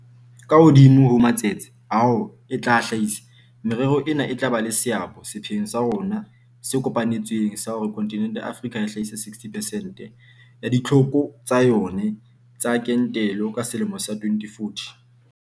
Ka hodimo ho matsetse ao e tla a hlahisa, merero ena e tla ba le seabo sepheong sa rona se kopa netsweng sa hore kontinente ya Afrika e hlahise 60 percent ya ditlhoko tsa yona tsa kentelo ka selemo sa 2040.